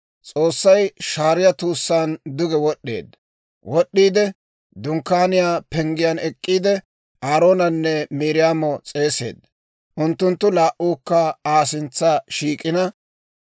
S'oossay shaariyaa tuussaan duge wod'd'eedda; Dunkkaaniyaa penggiyaan ek'k'iide, Aaroonanne Miiriyaamo s'eeseedda. Unttunttu laa"uukka Aa sintsa shiik'ina,